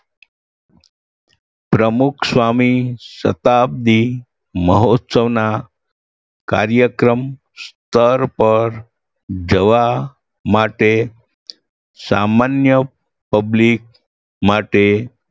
પ્રમુખસ્વામી શતાબ્દી મહોત્સવના કાર્યક્રમ સ્થળ પર જવા માટે સામાન્ય public માટે